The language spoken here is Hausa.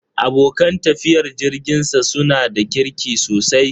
Abokan tafiyar jirginsa su na da kirki sosai.